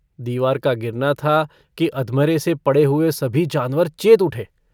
दीवार का गिरना था कि अधमरेसे पड़े हुए सभी जानवर चेत उठे।